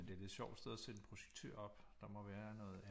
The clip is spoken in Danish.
Men det er et lidt sjovt sted at sætte en projektør op der må være noget